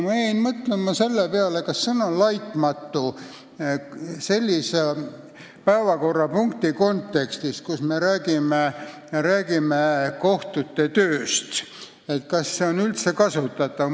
Ma jäin mõtlema, kas sõna "laitmatu" sellise päevakorrapunkti arutelul, kus me räägime kohtute tööst, on üldse kasutatav.